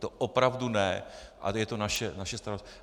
To opravdu ne, ale je to naše starost.